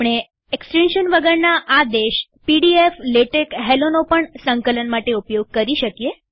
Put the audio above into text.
આપણે એક્સ્ટેન્શન વગરના આદેશ પીડીએફ લેટેક્સ helloનો પણ સંકલન માટે ઉપયોગ કરી શકીએ